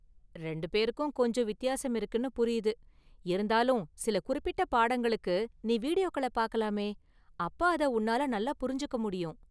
ரெண்டு பேருக்கும் கொஞ்சம் வித்தியாசம் இருக்குனு புரியுது, இருந்தாலும் சில குறிப்பிட்ட பாடங்களுக்கு நீ வீடியோக்களை பார்க்கலாமே, அப்ப அதை உன்னால நல்லா புரிஞ்சுக்க​ முடியும்.